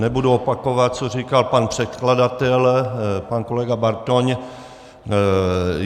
Nebudu opakovat, co říkal pan předkladatel, pan kolega Bartoň.